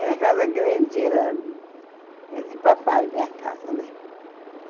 Era uma casa grande, era era de papai a minha casa, né?